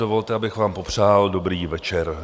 Dovolte, abych vám popřál dobrý večer.